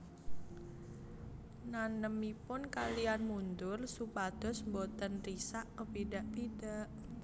Nanemipun kaliyan mundur supados boten risak kepidak pidak